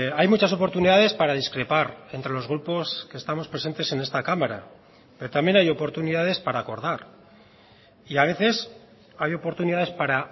hay muchas oportunidades para discrepar entre los grupos que estamos presentes en esta cámara pero también hay oportunidades para acordar y a veces hay oportunidades para